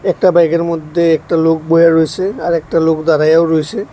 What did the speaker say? একটা বাইকের মধ্যে একটা লোক বইয়া রয়েছে আর একটা লোক দাঁড়াইয়াও রয়েছে।